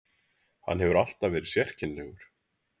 Hann hefur alltaf verið sérkennilegur.